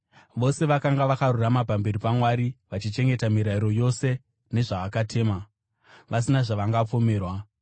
Vose vakanga vakarurama pamberi paMwari, vachichengeta mirayiro yaShe yose nezvaakatema, vasina zvavangapomerwa.